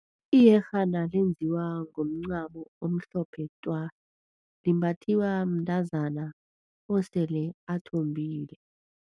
Iyerhana lenziwa ngomncamo omhlophe twa. Limbathiwa mntazana osele athombile.